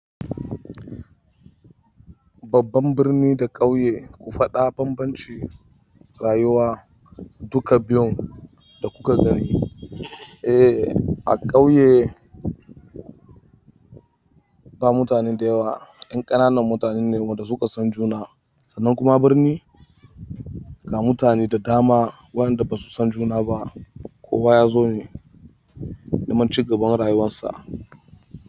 Babban birni da ƙauye ku faɗa bambancin rayuwa duka biyun da kuka gani. Eh a ƙauye ba mutane da yawa, ƴan ƙananan mutane ne waɗanda suka san juna sannan kuma birni ga mutane da dama wanda basu san juna ba kowa ya zo ne neman cigaban rayuwarsa.